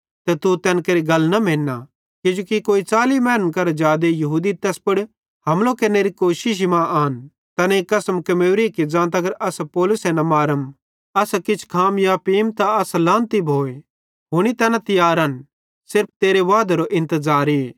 तू तैन केरि गल न मेन्ना किजोकि कोई 40 मैनन करां जादे यहूदी तैस पुड़ हमलो केरनेरी कोशिशी मां आन तैनेईं कसम कमेवरी कि ज़ां तगर असां पौलुसे न मारम तांतगर असां किछ खाम या पींम त असन लांनत भोए हुनी तैना तियारन सिर्फ तेरे वादेरो इंतज़ारे